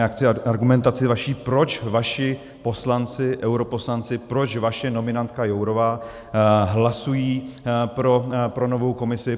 Já chci argumentaci vaši, proč vaši poslanci, europoslanci, proč vaše nominantka Jourová hlasují pro novou Komisi.